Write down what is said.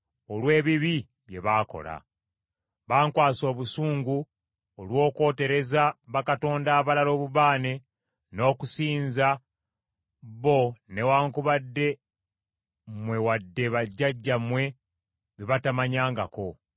olw’ebibi bye baakola. Bankwasa obusungu olw’okwotereza bakatonda abalala obubaane n’okusinza, bo newaakubadde mmwe wadde bajjajjammwe be batamanyangako.